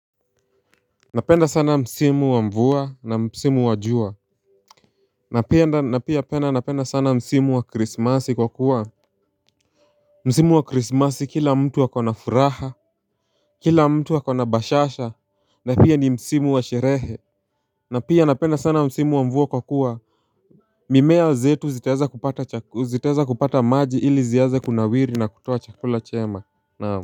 Napenda sana msimu wa mvua na msimu wajua Napenda napenda napenda sana msimu wa krismasi kwa kuwa Msimu wa krismasi kila mtu akona furaha Kila mtu akona bashasha Napia ni msimu wa sherehe Napia napenda sana msimu wa mvua kwa kuwa mimea zetu zitaweza kupata maji ili ziaanze kunawiri na kutuo chakula chema naam.